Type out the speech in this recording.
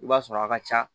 I b'a sɔrɔ a ka ca